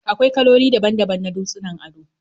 Akwai kaloli daban-daban na dutsunan ado